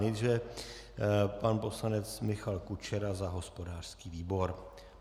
Nejdříve pan poslanec Michal Kučera za hospodářský výbor.